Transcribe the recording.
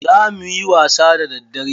Za muyi wasa da daddare.